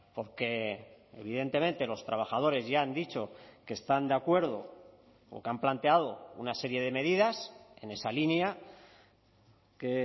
porque evidentemente los trabajadores ya han dicho que están de acuerdo o que han planteado una serie de medidas en esa línea que